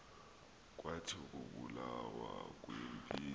kwathi ukubulawa kwempi